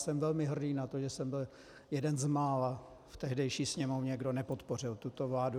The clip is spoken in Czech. Jsem velmi hrdý na to, že jsem byl jeden z mála v tehdejší Sněmovně, kdo nepodpořil tuto vládu.